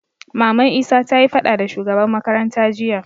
Maman isa tayi faɗa da shugaban makaranta jiya